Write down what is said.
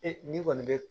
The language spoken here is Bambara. E ni kɔni bɛ